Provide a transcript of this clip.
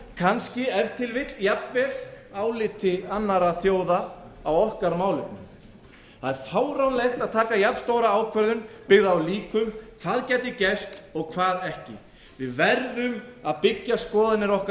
kannski ef til vill jafnvel áliti annarra þjóða á okkar málefnum það er fáránlegt að taka jafn stóra ákvörðun byggða á líkum hvað gæti gerst og hvað ekki við verðum að byggja skoðanir okkar á